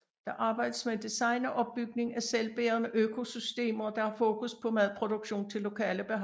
Der arbejdes med design og opbygning af selvbærende økosystemer der har fokus på madproduktion til lokale behov